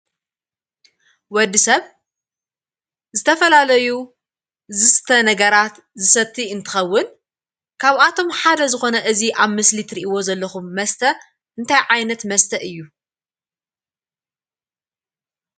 ወድሰብ ዝተፈላለዩ ዝስተ ነገራት ዝሰቲ እንትኸውን ካብአቶም ሓደ ዝኮነ እዚ አብ ምስሊ ትሪእዎ ዘለኹም መስተ እንታይ ዓይነት መስተ እዩ?